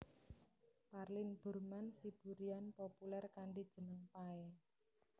Parlin Burman Siburian populèr kanthi jeneng Pay